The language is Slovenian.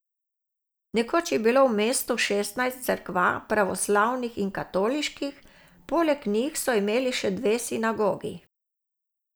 Nekoč je bilo v mestu šestnajst cerkva, pravoslavnih in katoliških, poleg njih so imeli še dve sinagogi.